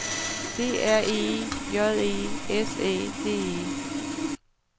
D R E J E S Æ D E